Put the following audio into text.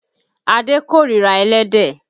Adé kórira ẹlẹ́dẹ̀.